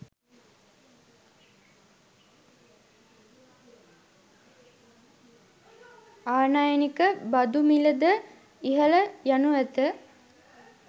ආනයනික බදු මිල ද ඉහළ යනු ඇත